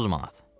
30 manat.